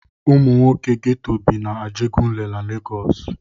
Ụmụ nwoke Geto bi na Ajegunle na Legọs.